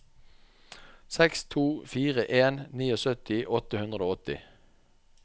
seks to fire en syttini åtte hundre og åtti